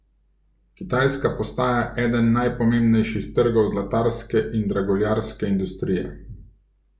Kitajska postaja eden najpomembnejših trgov zlatarske in draguljarske industrije.